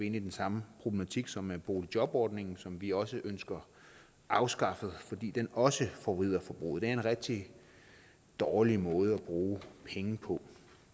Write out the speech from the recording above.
inde i den samme problematik som med boligjobordningen som vi også ønsker afskaffet fordi den også forvrider forbruget det er en rigtig dårlig måde at bruge penge på